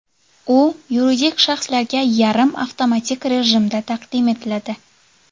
U yuridik shaxslarga yarim avtomatik rejimda taqdim etiladi.